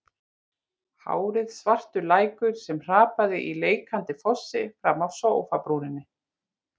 Hárið svartur lækur sem hrapaði í leikandi fossi fram af sófabrúninni.